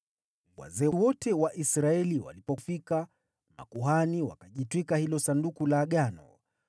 Wazee wote wa Israeli walipofika, makuhani wakajitwika Sanduku la Agano,